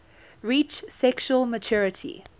reach sexual maturity